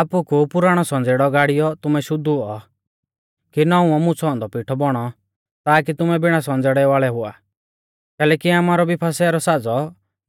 आपकु पुराणौ संज़ेड़ौ गाड़ियौ तुमै शुद्ध हुऔ कि नौउवौ मुछ़ौ औन्दौ पिठौ बौणौ ताकी तुमै बिणा संज़ेड़ै वाल़ै हुआ कैलैकि आमारौ भी फसह रौ साज़ौ